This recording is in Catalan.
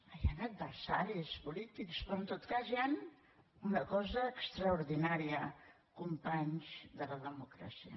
hi han adversaris polítics però en tot cas hi han una cosa extraordinària companys de la democràcia